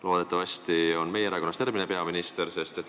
Loodetavasti on järgmine peaminister meie erakonnast.